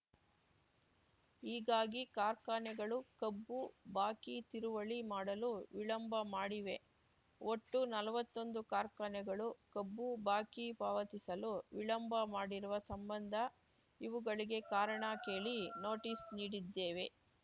ಹೀಗಾಗಿ ಕಾರ್ಖಾನೆಗಳು ಕಬ್ಬು ಬಾಕಿ ತೀರುವಳಿ ಮಾಡಲು ವಿಳಂಬ ಮಾಡಿವೆ ಒಟ್ಟು ನಲ್ವತ್ತೊಂದು ಕಾರ್ಖಾನೆಗಳು ಕಬ್ಬು ಬಾಕಿ ಪಾವತಿಸಲು ವಿಳಂಬ ಮಾಡಿರುವ ಸಂಬಂಧ ಇವುಗಳಿಗೆ ಕಾರಣ ಕೇಳಿ ನೋಟಿಸ್‌ ನೀಡಿದ್ದೇವೆ